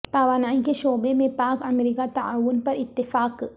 توانائی کے شعبے میں پاک امریکہ تعاون پر اتفاق